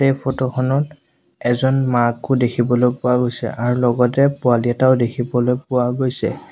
এই ফটো খনত এজন মাকো দেখিবলৈ পোৱা গৈছে আৰু লগতে পোৱালি এটাও দেখিবলৈ পোৱা গৈছে।